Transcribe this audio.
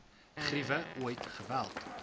griewe ooit geweld